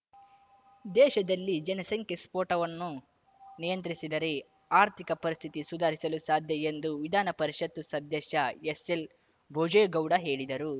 ದೇಶದಲ್ಲಿ ಜನಸಂಖ್ಯಾ ಸ್ಫೋಟವನ್ನು ನಿಯಂತ್ರಿಸಿದರೆ ಆರ್ಥಿಕ ಪರಿಸ್ಥಿತಿ ಸುಧಾರಿಸಲು ಸಾಧ್ಯ ಎಂದು ವಿಧಾನ ಪರಿಷತ್‌ ಸದ್ಧಷ್ಯ ಎಸ್‌ಎಲ್‌ ಭೋಜೇಗೌಡ ಹೇಳಿದರು